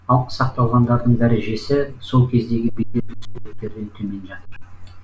ал сақталғандарының дәрежесі сол кездегі бедерлі суреттерден төмен жатыр